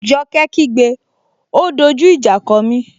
Joke kí gbé,'O dojú ìjà kọ mí!